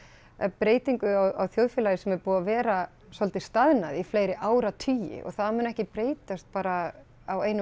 breytingu á þjóðfélagi sem er búið að vera svolítið staðnað í fleiri áratugi og það mun ekki breytast bara á einum